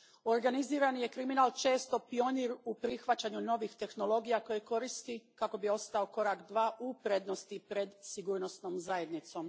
Organizirani je kriminal često pionir u prihvaćanju novih tehnologija koje koristi kako bi ostao korak dva u prednosti pred sigurnosnom zajednicom.